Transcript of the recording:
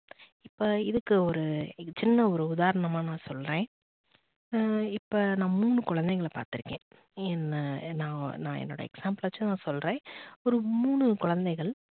இப்ப இதுக்கு ஒரு சின்ன ஒரு உதாரணமா நான் சொல்றேன். இப்ப நான் மூணு குழந்தைகள பாத்து இருக்கேன் நான் என்னுடைய example வச்சு நான் சொல்றேன் ஒரு மூணு குழந்தைகள்